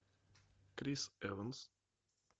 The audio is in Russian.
крис эванс